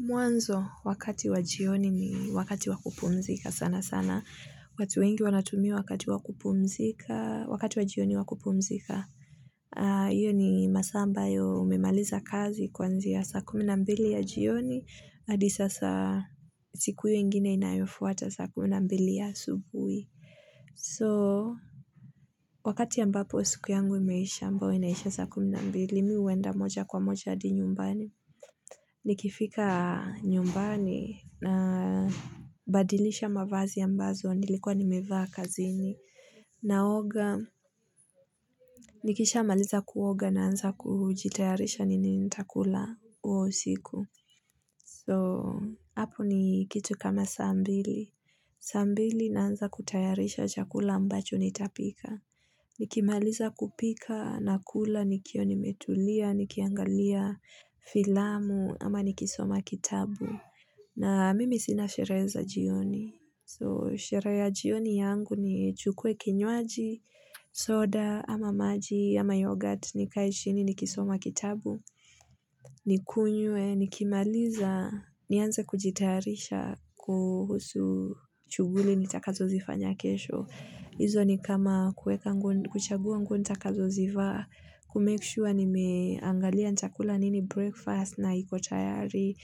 Mwanzo, wakati wa jioni ni wakati wa kupumzika sana sana. Watu wengi wanatumia wakati wakupumzika, wakati wa jioni wakupumzika. Iyo ni masaa ambayo umemaliza kazi kwa njia sa kumi na mbili ya jioni. Adi sasa, siku hiyo ingine inayofuata saa kumi na mbili ya asubuhi. So, wakati ambapo siku yangu imeisha, ambao inaisha sa kumi na mbili, mimi huenda moja kwa moja hadi nyumbani. Nikifika nyumbani na badilisha mavazi ambazo, nilikuwa nimevaa kazini. Naoga, nikisha maliza kuoga naanza kujitayarisha nini nitakula huo usiku. So, hapo ni kitu kama saa mbili. Saa mbili naanza kutayarisha chakula ambacho nitapika. Nikimaliza kupika na kula nikiwa nimetulia, nikiangalia filamu ama nikisoma kitabu. Na mimi sina sherehe za jioni. So sherehe ya jioni yangu ni chukue kinywaji, soda, ama maji, ama yoghurt, nikae shini, nikisoma kitabu, nikunywe, nikimaliza, nianze kujitayarisha kuhusu shughuli nitakazo zifanya kesho. Izo ni kama kuweka nguo kuchagua nguo nitakazo zivaa, kumake sure nimeangalia chakula nini breakfast na iko tayari,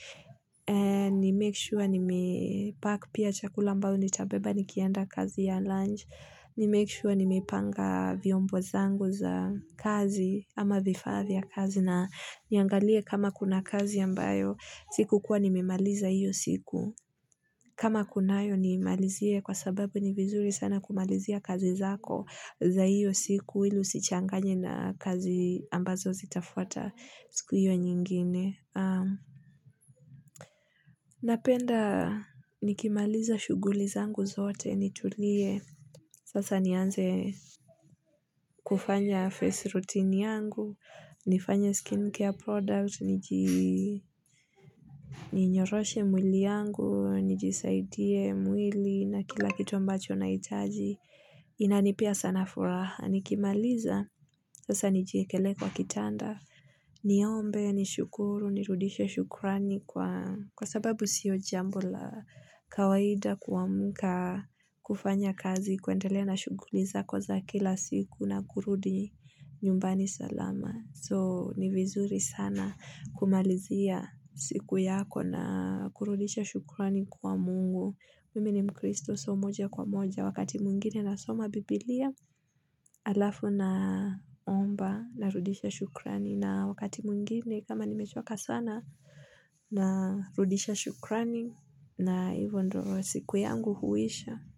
nimake sure nime pack pia chakula ambao nita beba nikienda kazi ya lunch, nimake sure nimepanga vyombo zangu za kazi ama vifaa vya kazi na niangalie kama kuna kazi ambayo sikukuwa nimemaliza hiyo siku. Kama kunayo niimalizie kwa sababu ni vizuri sana kumalizia kazi zako za hiyo siku ili usichanganye na kazi ambazo zitafuata siku hiyo nyingine. Napenda nikimaliza shughuli zangu zote nitulie. Sasa nianze kufanya face routine yangu, nifanye skin care product, niji ninyoroshe mwili yangu, nijisaidie mwili na kila kitu ambacho nahitaji. Inanipea sana furaha, nikimaliza. Sasa nijikelee kwa kitanda. Ni ombe ni shukuru ni rudishe shukurani kwa kwa sababu siyo jambo la kawaida kuamka kufanya kazi kuendelea na shughuli zako za kila siku na kurudi nyumbani salama. So ni vizuri sana kumalizia siku yako na kurudisha shukurani kwa mungu. Mimi ni mkristo so moja kwa moja wakati mwingine nasoma biblia alafu na omba na rudisha shukrani na wakati mwingine kama nimechoka sana na rudisha shukrani na ivo ndio siku yangu huisha.